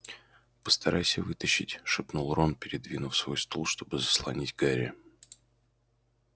постарайся вытащить шепнул рон передвинув свой стул чтобы заслонить гарри